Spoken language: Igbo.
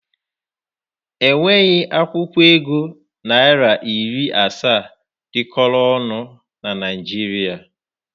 Enweghị akwụkwọ ego naịra iri asaa dịkọrọ ọnụ na Naịjirịa.